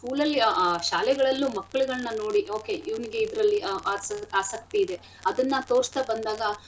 school ಅಲ್ಲಿ ಆಹ್ ಶಾಲೆಗಳಲ್ಲಿ ಮಕ್ಳಗಳ್ನ ನೋಡಿ okay ಇವ್ನಿಗೆ ಇದ್ರಲ್ಲಿ ಉ~ ಅ~ ಆಸ~ ಆಸಕ್ತಿ ಇದೆ ಅದನ್ನ ತೊರಸ್ತಾ ಬಂದಾಗ.